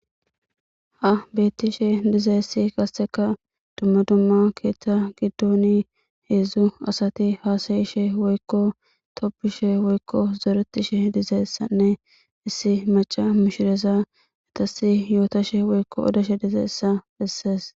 Ha beettishe dizeessi kasseka dumma dumma keeththa giddoni heedzdzu asati haasayishe woykko toppishe woykko zoretishe dizeessanne issi maca mishireza etasi yootashe woykko odeshe dizeessa bessees.